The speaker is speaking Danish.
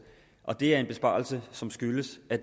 og det er en besparelse som skyldes at